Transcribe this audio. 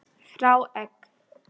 Hrá egg.